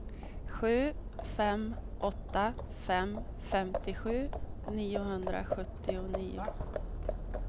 sju fem åtta fem femtiosju niohundrasjuttionio